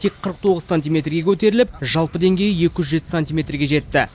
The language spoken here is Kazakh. тек қырық тоғыз сантиметрге көтеріліп жалпы деңгейі екі жүз жеті сантиметрге жетті